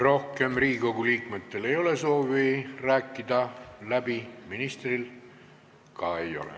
Rohkem ei ole Riigikogu liikmetel soovi läbi rääkida, ministril ka ei ole.